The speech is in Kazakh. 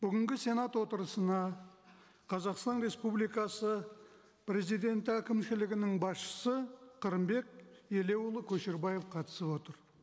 бүгінгі сенат отырысына қазақстан республикасы президенті әкімшілігінің басшысы қырымбек елеуұлы көшербаев қатысып отыр